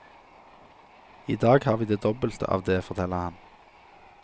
I dag har vi det dobbelte av det, forteller han.